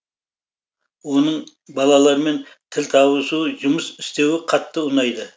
оның балалармен тіл табысуы жұмыс істеуі қатты ұнайды